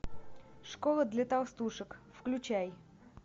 школа для толстушек включай